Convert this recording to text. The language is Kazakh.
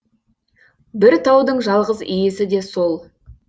бір таудың жалғыз иесі де сол